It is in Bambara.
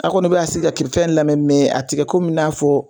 A kɔni bɛ k'a sigi ka kiri fɛn lamɛn mɛ a tɛ kɛ kom'i n'a fɔ